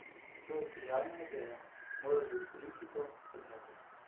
To je sijajna ideja, moral bi v politiko, sem rekel.